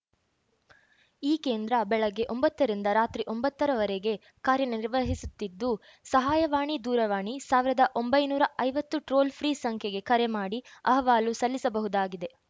ಈ ಕೇಂದ್ರ ಬೆಳಗ್ಗೆ ಒಂಬತ್ತ ರಿಂದ ರಾತ್ರಿ ಒಂಬತ್ತರವರೆಗೆ ಕಾರ್ಯ ನಿರ್ವಹಿಸುತ್ತಿದ್ದು ಸಹಾಯವಾಣಿ ದೂರವಾಣಿ ಸಾವಿರದ ಒಂಬೈನೂರ ಐವತ್ತು ಟ್ರೋಲ್‌ ಫ್ರೀ ಸಂಖ್ಯೆಗೆ ಕರೆ ಮಾಡಿ ಅಹವಾಲು ಸಲ್ಲಿಸಬಹುದಾಗಿದೆ